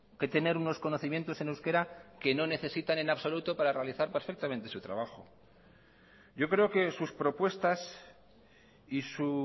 que tener unos conocimientos en euskera que no necesitan en absoluto para realizar perfectamente su trabajo yo creo que sus propuestas y su